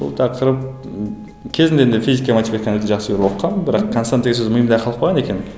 бұл тақырып ы кезінде енді физика матиматиканы жақсы көріп оқығанмын бірақ констант деген сөз миымда қалып қалған екен